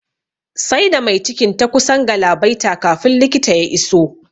Sai da mai cikin ta kusan galabaita kafin likita ya iso